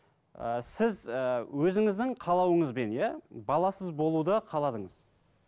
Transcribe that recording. ы сіз ыыы өзіңіздің қалауыңызбен иә баласыз болуды қаладыңыз